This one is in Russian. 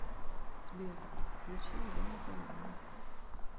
сбер включи елену калинину